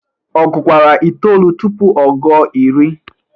ọ gụkwara itolu tụpụ ọ gụo iri?